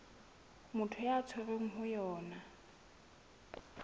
motho a tshwerweng ho yona